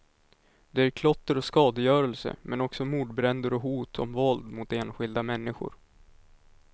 Det är klotter och skadegörelse, men också mordbränder och hot om våld mot enskilda människor.